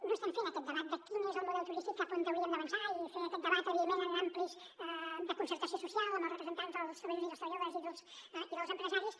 no estem fent aquest debat de quin és el model turístic cap on hauríem d’avançar i fer aquest debat evidentment en àmbits de concertació social amb els representants dels treballadors i dels treballadors i dels empresaris